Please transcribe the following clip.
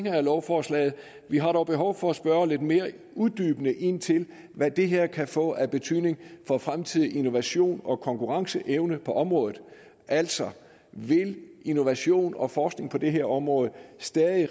af lovforslaget vi har dog behov for at spørge lidt mere uddybende ind til hvad det her kan få af betydning for fremtidig innovation og konkurrenceevne på området altså vil innovation og forskning på det her område stadig